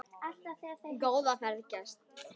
Góða ferð, gæskur.